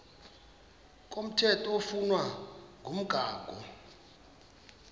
komthetho oflunwa ngumgago